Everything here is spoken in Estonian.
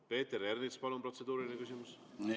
Peeter Ernits, palun, protseduuriline küsimus!